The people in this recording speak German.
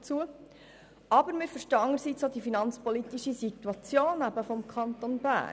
Auf der anderen Seite verstehen wir auch die finanzpolitische Situation des Kantons Bern.